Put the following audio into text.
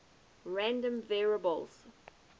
random variables